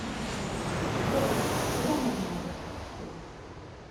джой куда можно на выставку сходить